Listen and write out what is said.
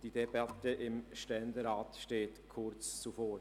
die Debatte im Ständerat steht kurz bevor.